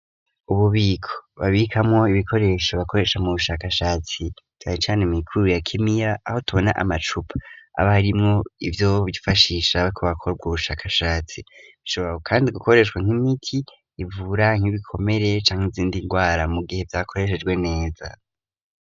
Ububiko babikamwo ibikoresho bakoresha mu bushakashatsi cane cane mw'ikuru ya kimiya aho tubona amacupa, haba harimwo ivyo bifashisha hariko hakorwa ubushakashatsi, bishobora kandi gukoreshwa nk'imiti ivura nk'ibikomere canke izindi ngwara mu gihe vyakoreshejwe neza.